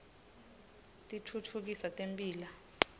titfutfukisa temphilo